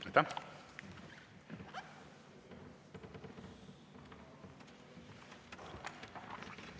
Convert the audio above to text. Aitäh!